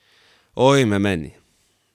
Ojme meni.